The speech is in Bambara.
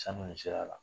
Sanu in sira la